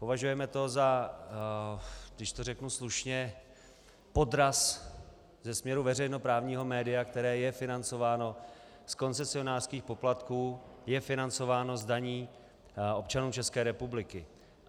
Považujeme to za, když to řeknu slušně, podraz ze směru veřejnoprávního média, které je financováno z koncesionářských poplatků, je financováno z daní občanů České republiky.